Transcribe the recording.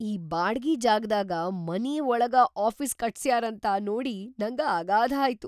ಈ ಬಾಡ್ಗಿ ಜಾಗಾದಾಗ ಮನಿ ಒಳಗಾ ಆಫೀಸ್‌ ಕಟ್ಸ್ಯಾರಂತ ನೋಡಿ ನಂಗ ಅಗಾಧಾಯ್ತು.